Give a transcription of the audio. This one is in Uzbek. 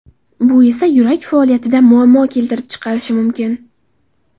Bu esa yurak faoliyatida muammo keltirib chiqarishi mumkin.